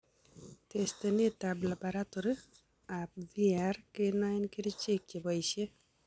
Testeneet ab labaratory ab VRE kenoen kercheek cheboisie